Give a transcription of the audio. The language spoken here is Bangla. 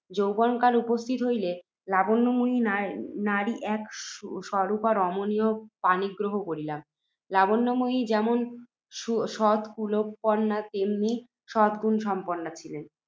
যৌবনকাল উপস্থিত হইলে, লাবণ্যময়ী নাম্নী এক সুরূপা রমণীর পাণিগ্রহণ করিলাম। লাবণ্যময়ী যেমন সৎকুলোৎপন্না, তেমনই সদ্‌গুণ সম্পন্ন ছিলেন।